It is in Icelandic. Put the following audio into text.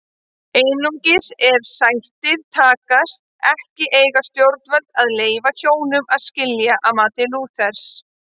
Einungis ef sættir takast ekki eiga stjórnvöld að leyfa hjónum að skilja að mati Lúthers.